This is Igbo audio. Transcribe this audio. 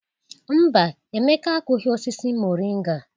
Mba, Emeka akụghị osisi moringa.